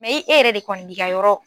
e yɛrɛ de kɔni b'i ka yɔrɔ